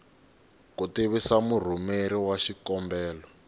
ku tivisa murhumeri wa xikombelo